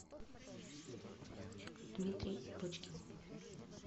дмитрий почкин